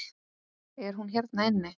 Er hún hérna inni?